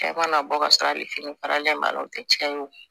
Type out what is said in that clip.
Cɛ mana bɔ ka sɔrɔ a kelen faralen b'a o tɛ tiɲɛ ye o